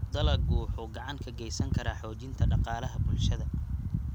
Dalaggu wuxuu gacan ka geysan karaa xoojinta dhaqaalaha bulshada.